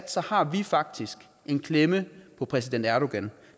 har vi faktisk en klemme på præsident erdogan